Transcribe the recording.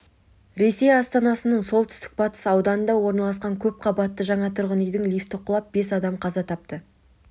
ресей астанасының солтүстік-батыс ауданында орналасқан көп қабатты жаңа тұрғын үйдің лифті құлап бес адам қаза тапты